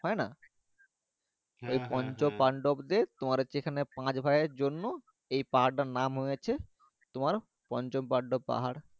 পঞ্চপান্ডব দের তোমার হচ্ছে এখানে পাঁচ ভাই জন্য এই পাহাড় তার নাম হয়েছে পঞ্চপান্ডব পাহাড়।